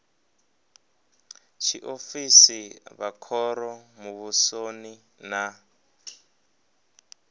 tshiofisi vha khoro muvhusoni na